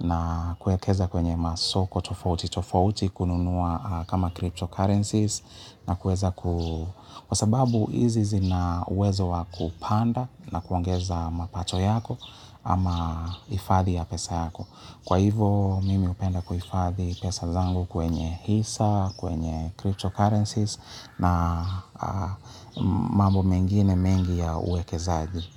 na kuwekeza kwenye masoko tofauti tofauti kununua kama cryptocurrencies na kuweza kwa sababu hizi zina uwezo wa kupanda na kuongeza mapato yako ama hifadhi ya pesa yako. Kwa hivyo mimi hupenda kuhifadhi pesa zangu kwenye hisa, kwenye cryptocurrencies na mambo mengine mengi ya uwekezaji.